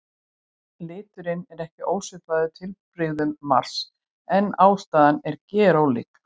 Liturinn er ekki ósvipaður litbrigðum Mars en ástæðan er gerólík.